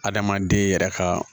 Adamaden yɛrɛ ka